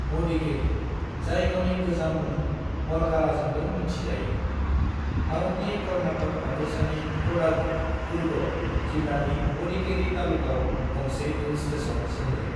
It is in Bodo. मदिकेरी, जाय गावनि गोजाम मुं मरकाराजोंबो मिन्थि जायो, भारतनि कर्नाटक हादोरसानि कोडागु (कूर्ग) जिल्लानि मदिकेरी तालुकाव गंसे हिल स्टेशन सोहोर।